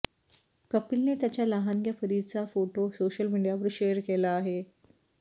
कपिलने त्याच्या लहानग्या परिचा फोटो सोशल मीडियावर शेअर केला आहे